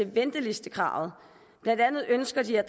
ventelistekravet blandt andet ønsker de at